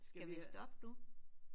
Skal vi stoppe nu?